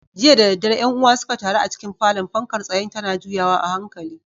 Jiya da daddare ƴan uwa suka taru a cikin falon, fankar tsayen tana juyawa a hankali.